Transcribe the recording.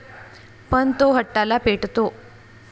पण तो हट्टाला पेटतो.